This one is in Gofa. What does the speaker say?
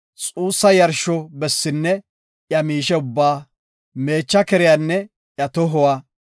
xuussa yarsho bessinne iya miishe ubbaa, meecha keriyanne iya tohuwa,